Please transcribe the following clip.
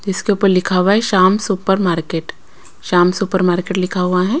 जिसके ऊपर लिखा हुआ है Shyam supermarket Shyam supermarket लिखा हुआ हैं।